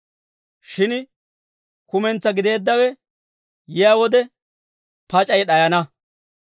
Shin kumentsaa gideeddawe yiyaa wode, pac'ay d'ayana.